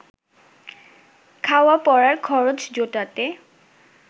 খাওয়া পরার খরচ জোটাতে